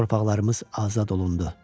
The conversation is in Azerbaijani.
Torpaqlarımız azad olundu.